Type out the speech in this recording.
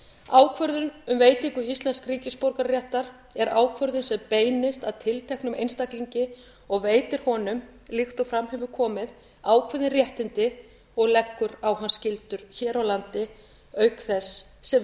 ákvörðun um veitingu íslensks ríkisborgararéttar er ákvörðun sem beinist að tilteknum einstaklingi og veitir honum líkt og fram hefur komið ákveðin réttindi og leggur á hann skyldur hér á landi auk þess sem